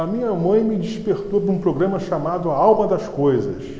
A minha mãe me despertou para um programa chamado A Alma das Coisas.